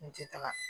N tɛ taga